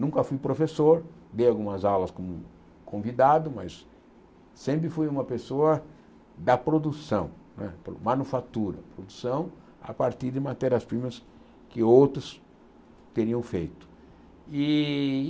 Nunca fui professor, dei algumas aulas como convidado, mas sempre fui uma pessoa da produção não é, manufatura, produção, a partir de matérias-primas que outros teriam feito. E